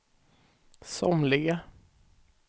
somliga